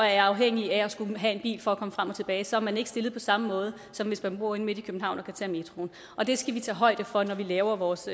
er afhængig af at skulle have en bil for at komme frem og tilbage så er man ikke stillet på samme måde som hvis man bor inde midt i københavn og kan tage metroen og det skal vi tage højde for når vi laver vores